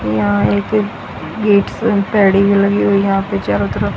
यहां एक गेट्स पैड़ी भी लगी हुई यहां पे चारों तरफ--